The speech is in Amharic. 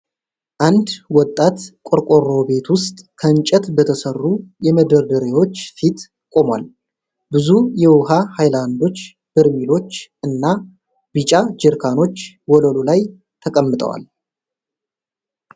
አንድ ወጣት ቆርቆሮ ቤት ውስጥ ከእንጨት በተሠሩ የመደርደሪያዎች ፊት ቆሟል። ብዙ የውሃ ሀይላንዶች፣ በርሜሎች እና ቢጫ ጀሪካኖች ወለሉ ላይ ተቀምጠዋል።